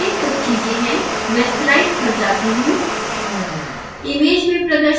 note करने के लिए कुछ चीज़ें हैं मैं स्लाइड्स पर जाती हूँ